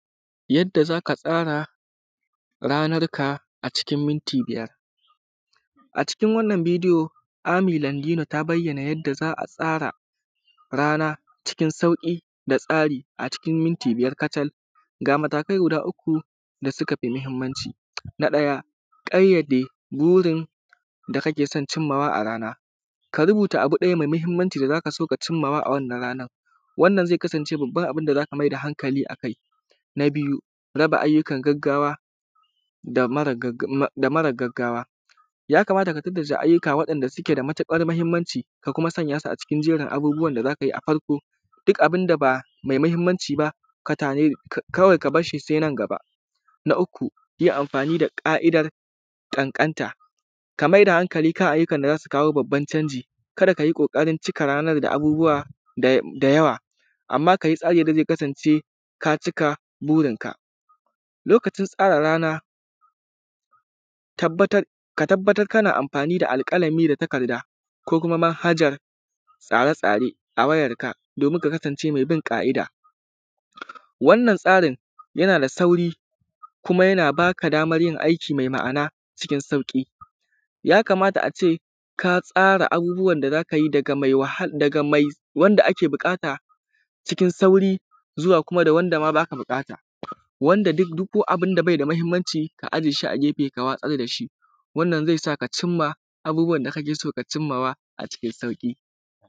Yadda zaka tsara ranarka a cikin minti biyar, a cikin wannan bidiyo Ami Landina ta bayyana yanda za’a tsara rana cikin sauƙi da tsari a cikin minti biyar kacal. Ga matakai guda uku da sukafi mahimmanci na ɗaya ƙayyade burin da kake son cimma a rana, karubuta abu ɗaya mai mahimmanci wanda zaka so ka cimman a rana wannan zai kasance babban abun da zaka maida hankali akai. Na biyu raba ayyukan gaggawa da mara gaggawa yakamata ka tantance ayyuka wanda suke da matuƙar mahimmanci ka kuma sanya su a cikin jerin abubuwan da za ka yi a farko duk abunda ba mai mahimmanci ba kawai ka barshi sai nan gaba. Na uku yin amfani da ƙa’idar ƙanƙanta ka maida hankali kan ayyukan da za su kawo babban canji kada ka yi ƙoƙari cika ranan da abubuwa da yawa ammma ka yi tsari yanda zai kasance ka cika burinka. Lokacin tsara rana ka tabbatar kana amfani da alƙalami da takarda ko kuma manhajan tsare-tsare a wayarka domin ka kasance mai bin ƙa’ida. Wannan tsarin yana da sauri kuma yana baka daman yin aiki mai ma’ana cikin sauƙi. Ya kamata a ce ka tsara abubuwan da za ka yi daga mai wanda ake buƙata cikin sauri zuwa kuma da wanda ma baka buƙata wanda duk abunda bai da mahimmanci ka ajeshi a gefe ka watsar dashi wannan zai saka cimma abubuwan da kake so ka cimmawa a cikin sauƙi.